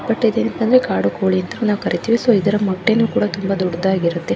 but ಇದೇನಂದ್ರೆ ಕಾಡು ಕೋಳಿ ಅಂತ ನಾವು ಕರೀತೀವಿ ಸೊ ಇದ್ರ ಮೊಟ್ಟೆನು ಕೂಡ ತುಂಬಾ ದೊಡ್ಡದಾಗಿ ಇರುತ್ತೆ